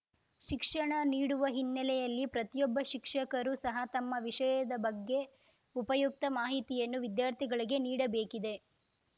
ಶಿಕ್ಷಣ ನೀಡುವ ಹಿನ್ನೆಲೆಯಲ್ಲಿ ಪ್ರತಿಯೊಬ್ಬ ಶಿಕ್ಷಕರು ಸಹ ತಮ್ಮ ವಿಷಯದ ಬಗ್ಗೆ ಉಪಯುಕ್ತ ಮಾಹಿತಿಯನ್ನು ವಿದ್ಯಾರ್ಥಿಗಳಿಗೆ ನೀಡಬೇಕಿದೆ